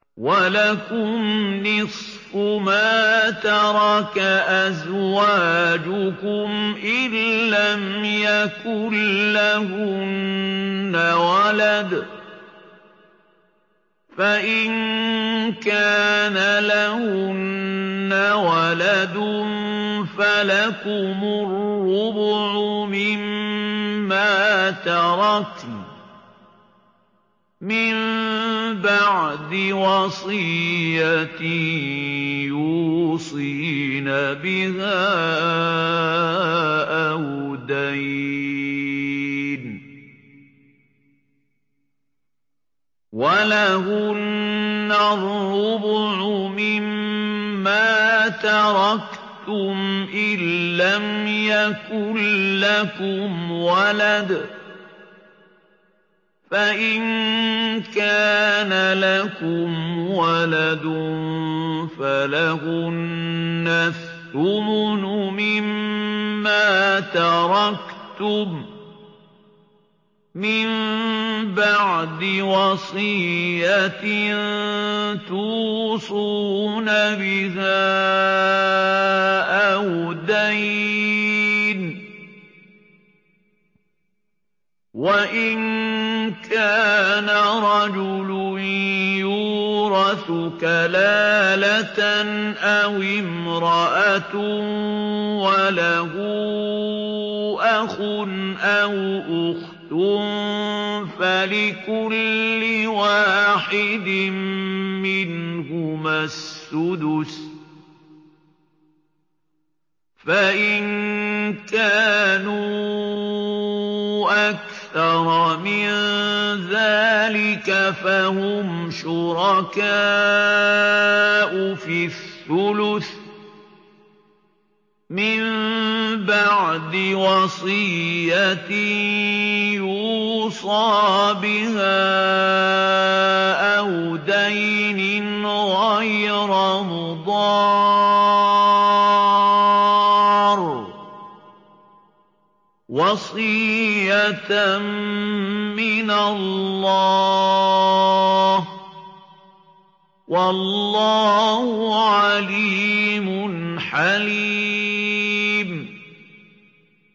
۞ وَلَكُمْ نِصْفُ مَا تَرَكَ أَزْوَاجُكُمْ إِن لَّمْ يَكُن لَّهُنَّ وَلَدٌ ۚ فَإِن كَانَ لَهُنَّ وَلَدٌ فَلَكُمُ الرُّبُعُ مِمَّا تَرَكْنَ ۚ مِن بَعْدِ وَصِيَّةٍ يُوصِينَ بِهَا أَوْ دَيْنٍ ۚ وَلَهُنَّ الرُّبُعُ مِمَّا تَرَكْتُمْ إِن لَّمْ يَكُن لَّكُمْ وَلَدٌ ۚ فَإِن كَانَ لَكُمْ وَلَدٌ فَلَهُنَّ الثُّمُنُ مِمَّا تَرَكْتُم ۚ مِّن بَعْدِ وَصِيَّةٍ تُوصُونَ بِهَا أَوْ دَيْنٍ ۗ وَإِن كَانَ رَجُلٌ يُورَثُ كَلَالَةً أَوِ امْرَأَةٌ وَلَهُ أَخٌ أَوْ أُخْتٌ فَلِكُلِّ وَاحِدٍ مِّنْهُمَا السُّدُسُ ۚ فَإِن كَانُوا أَكْثَرَ مِن ذَٰلِكَ فَهُمْ شُرَكَاءُ فِي الثُّلُثِ ۚ مِن بَعْدِ وَصِيَّةٍ يُوصَىٰ بِهَا أَوْ دَيْنٍ غَيْرَ مُضَارٍّ ۚ وَصِيَّةً مِّنَ اللَّهِ ۗ وَاللَّهُ عَلِيمٌ حَلِيمٌ